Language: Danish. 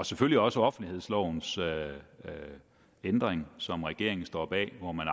selvfølgelig også offentlighedslovens ændring som regeringen står bag hvormed